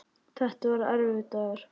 Þetta var erfiður dagur.